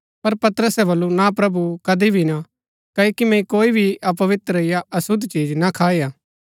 पर पतरसे बल्लू ना प्रभु कदी भी ना क्ओकि मैंई कोई भी अपवित्र या अशुद्ध चिज ना खाई हा